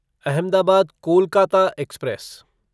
Ahmedabad Kolkata express